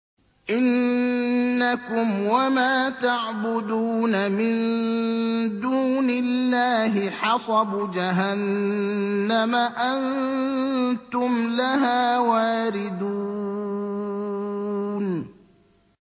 إِنَّكُمْ وَمَا تَعْبُدُونَ مِن دُونِ اللَّهِ حَصَبُ جَهَنَّمَ أَنتُمْ لَهَا وَارِدُونَ